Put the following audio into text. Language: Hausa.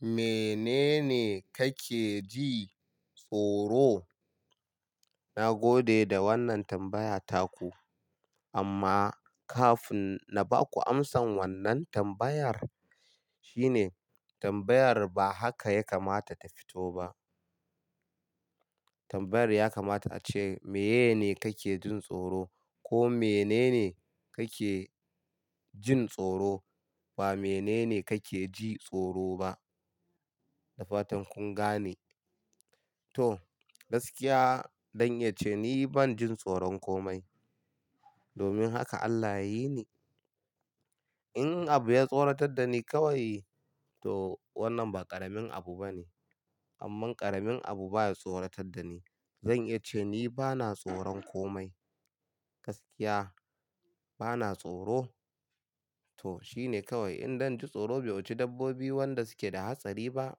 Menene kake jin tsoro? Na gode da wannan tambaya taku amma kafin na baku amsan wannan tambayar shine tambayar ba haka ya kamata ta fito ba. Tambayar ya kamata ace, "Meye ne kake jin tsoro?" ko "Menene kake jin tsoro?" ba "Menene kake ji tsoro?" ba. Da fatan kun gane. To gaskiya don ya zan iya ni ban jin tsoron komai. Domin haka Allah ya yini. In abu ya tsoratar da ni kawai to wannan ba ƙaramin abu bane. Amma ƙaramin abu baya tsoratar da ni. Zan iya ce ni bana tsoron komai. Gaskiya bana tsoro. To shine kawai in zan ji tsoro bai wuce dabbobi wanda suke da hatsari ba.